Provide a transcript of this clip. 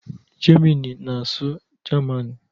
Germini na-asụ Germani